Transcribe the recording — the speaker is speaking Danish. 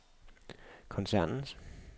koncernens